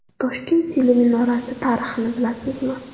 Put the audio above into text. Toshkent teleminorasi tarixini bilasizmi?.